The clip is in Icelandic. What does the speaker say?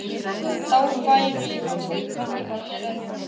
Þá væri ég kannski einhvern tímann með Lilju